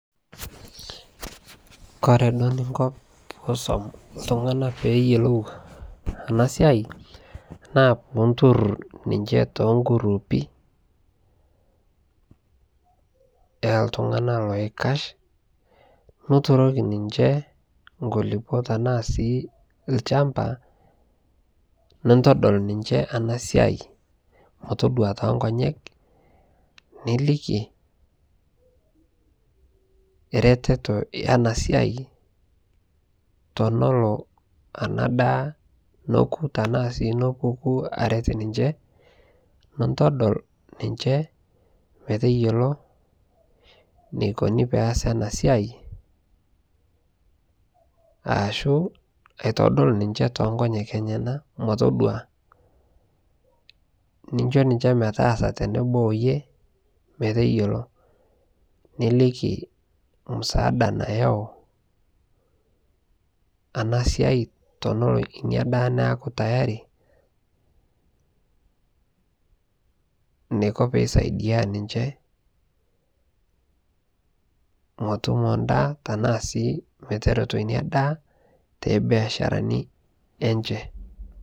kore duo ninko piisom ltungana peeyolou anaa siai naa puuntur ninshe tenguruupi eltungana loikash nuturokii ninshee nkulipo tanaa sii lshampaa nintodol ninshe ana siai motodua tenkonyek nilikii retetoo yenaa siai tonoloo ana daa nokuu tanaa sii nopukuu aret ninshe nintodol ninshe meteyoloo neikoni peasi ana siai aashu aitodol ninshe tonkonyek enyanaa motodua ninsho ninshe metaasa teneboo oiyee meteyoloo nilikii msaada nayau ana siai teneloo inia daa neakuu tayari neikoo peisaidia ninshee motumo ndaa tanaa sii meteretoo inia daa tebiasharani enshee